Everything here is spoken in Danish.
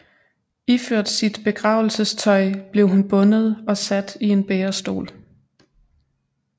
Iført sit begravelsestøj blev hun bundet og sat i en bærestol